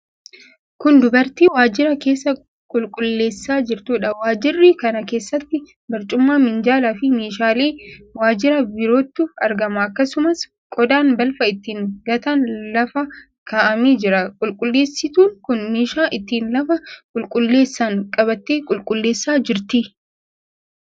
Kun dubartii waajjira keessa qulqulleessaa jirtuudha. Waajjira kana keessatti barcuma, minjaalaafi meeshaalee waajjiraa birootu argama. Akkasumas qodaan balfa ittiin gatan lafa kaa'amee jira. Qulqulleessituun kun meeshaa ittiin lafa qulqulleessan qabattee qulqulleessaa jirti.